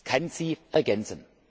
Es kann sie ergänzen.